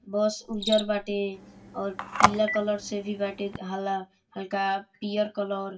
बस ऊजर बाटे और पीला कलर से भी बाटे हाला हल्का पीअर कलर |